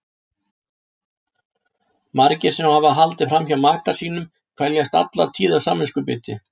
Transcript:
Margir sem hafa haldið fram hjá maka sínum kveljast alla tíð af samviskubiti.